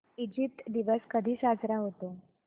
Egypt दिवस कधी साजरा होतो